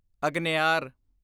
ਅਗਨਿਆਰ